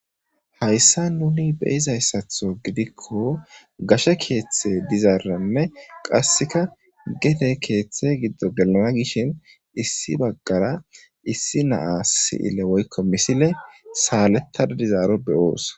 hayssa nuni beyizayssatho gidikko gashe keeththe dizaaranne qasseka gete keeththe giddo gelana gishin issi baggara issi naa si7ile woykko misile saalettada dizaaro beyoos